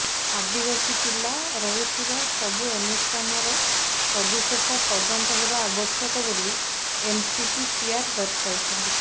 ଆଦିବାସୀ ପିଲା ରହୁଥିବା ସବୁ ଅନୁଷ୍ଠାନର ସବିଶେଷ ତଦନ୍ତ ହେବା ଆବଶ୍ୟକ ବୋଲି ଏନସିପିସିଆର ଦର୍ଶାଇଛି